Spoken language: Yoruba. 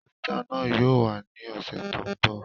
Wétà náà yóò wá ní ọsẹ tó n bọ